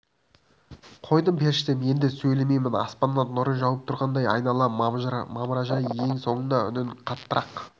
қойдым періштем енді сөйлемейін аспаннан нұры жауып тұрғандай айнала мамыражай ең соңында үнін қаттырақ